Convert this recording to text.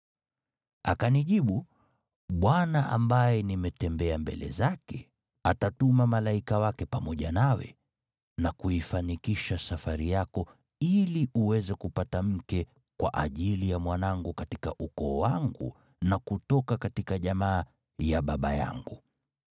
“Akanijibu, ‘ Bwana ambaye nimetembea mbele zake, atatuma malaika wake pamoja nawe, na kuifanikisha safari yako, ili uweze kupata mke kwa ajili ya mwanangu katika ukoo wangu na kutoka jamaa ya baba yangu.